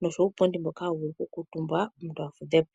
noshowo uupundi mboka hawu vulu okukuutumbwa omuntu a fudhe po.